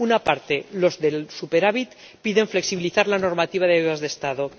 Una parte, los del superávit, piden flexibilizar la normativa de ayudas de Estado.